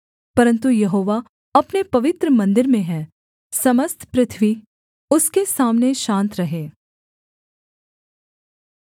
परन्तु यहोवा अपने पवित्र मन्दिर में है समस्त पृथ्वी उसके सामने शान्त रहे